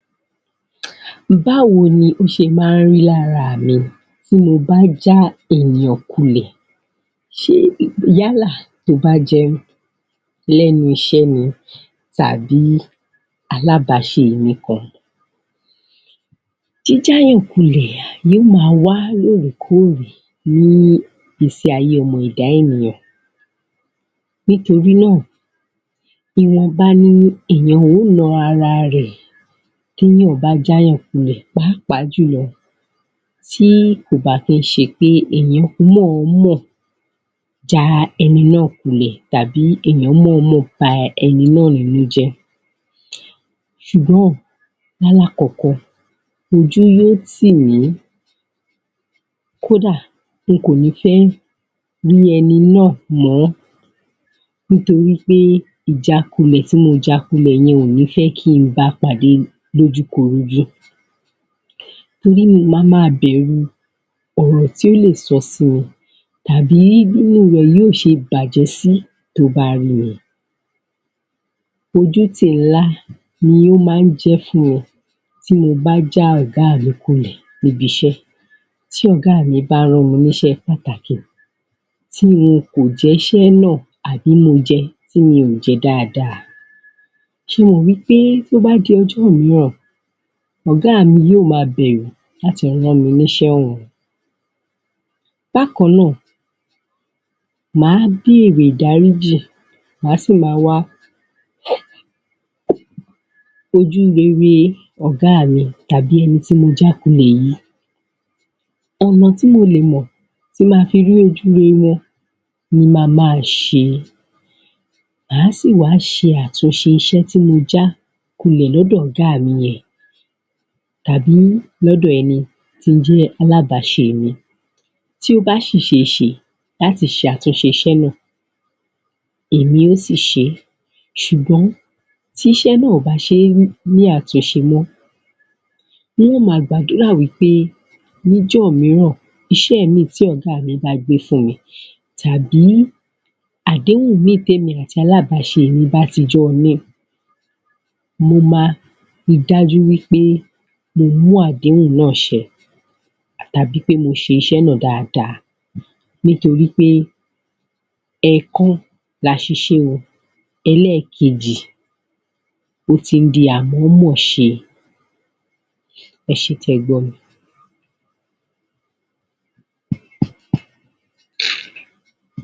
Báwo ni ó ṣe máa ń rí ní ara mi tí mo bá já àwọn ènìyàn kulẹ̀? Yálà tó bá jẹ́ lẹ́nu iṣẹ́ ni tàbí alábaṣe mi kan. Jíjá ènìyàn kulẹ̀ yóò máa wá lóòrèkóòrè ní ìgbésí ayé ọmọ ẹ̀dá ènìyàn, nítorí náà ìwọ̀nba ni ènìyàn ó na ara rẹ̀ tí ènìyàn bá já ènìyàn kulẹ̀ pàápàá jùlọ tí kò bá kí ń ṣe pé ènìyàn mọ̀ọ́mọ̀ já ẹni náà kulẹ̀ tàbí ènìyàn mọ̀ọ́mọ̀ ba ẹni náà ní inú jẹ́, ṣùgbọ́n ní alákọ̀ọ́kọ́ ojú yóò tì mí, kódà nkọ̀ ní fẹ́ rí ẹni náà mọ́ nítorí pé ìjákulẹ̀ tí mo ja kulẹ̀ mi ò ní fẹ́ ba pàdé lójú korojú torí màá ma bẹ̀rù ọ̀rọ̀ tí ó lè sọ sí mi tàbí inú rẹ̀ yóò ṣe bàjẹ́ sí tí ó bá rí mi. Ojútì nhlá ni ó máa ń jẹ́ fún mi tí mo bá já ọ̀gá mi kulẹ̀ lẹ́nu iṣẹ́, tí ọ̀gá mi bá rán mi níṣẹ́ pàtàkì tí mo kàn jẹ́ṣẹ́ náà àbí mo jẹ tí mi ò jẹ dáadáa ṣé ẹ mọ̀ wí pé tí ó bá di ọjọ́ mìíràn ọ̀gá mi yóò máa bẹ̀rù láti rán mi ní iṣẹ́ ọ̀hún. Bákan náà màá béèrè ìdáríjì, màá sì máa wá ojú rere ọ̀gá à mi tàbí ẹni tí mo já kulẹ̀ yìí. Ọ̀nà tí mo lè mọ̀ tí màá fi rí ojú rere wọn ni màá máa ṣe, màá sì wá ṣe àtúnṣe iṣẹ́ tí mo já kulẹ̀ lọ́dọ̀ ọ̀gá mi yẹn tàbí lọ́dọ̀ ẹni tí ó jẹ́ alábàáṣe mi tí ó bá ṣì ṣeéṣe láti ṣe àtúnṣe iṣẹ́ náà èmi ó sì ṣeé, ṣùgbọ́n tí iṣẹ́ náà kò bá ní àtúnṣe mọ́, n óò máa gbàdúrà wí pé níjọ́ mìíràn iṣẹ́ míì tí ọ̀gá mi bá gbé fún mi tabi àdéhùn míì tí èmi àti alábàáṣe mi bá ti jọ ni, mo máa ri dájú wí pé mo mú àdéhùn náà ṣẹ àti pé mo ṣe iṣẹ́ náà dáadáa nítoríp pé ẹ̀ẹ̀kan ni àṣìṣe o, ẹlẹ́ẹ̀kejì ó ti ń di à mọ̀ọ́mọ̀ ṣe. Ẹ ṣe tẹ́ ẹ gbọ́ mi,